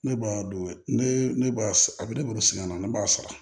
Ne b'a don ne ne b'a a bɛ ne bolo sɛgɛn na ne b'a sara